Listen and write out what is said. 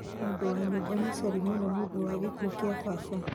Mũndũ wa nyũmba ni cori mũno nĩũndũ wa gĩkuo kĩa baba.